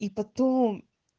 и потом